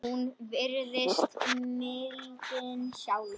Hún virðist mildin sjálf.